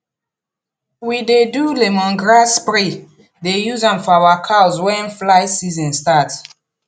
we dey do lemongrass spray dey use am for our cows wen fly season start